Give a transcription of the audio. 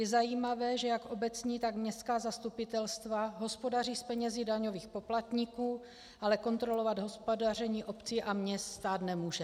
Je zajímavé, že jak obecní, tak městská zastupitelstva hospodaří s penězi daňových poplatníků, ale kontrolovat hospodaření obcí a měst stát nemůže.